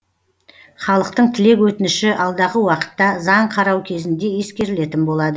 халықтың тілек өтініші алдағы уақытта заң қарау кезінде ескерілетін болады